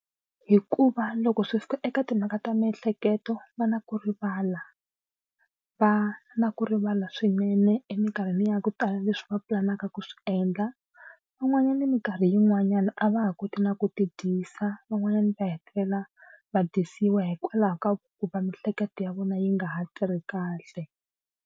Hikuva loko swi fika eka timhaka ta miehleketo va na ku rivala va na ku rivala swinene emikarhini ya ku tala leswi va pulanaka ku swi endla. Van'wanyani mikarhi yin'wanyani a va ha koti na ku tidyisa van'wanyana va hetelela va dyisiwa hikwalaho ka ku va mihleketo ya vona yi nga ha tirhi kahle.